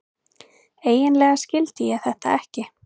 Eiginlega skildi ég þetta ekki.